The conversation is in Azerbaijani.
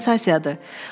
bu əsil sensasiyadır!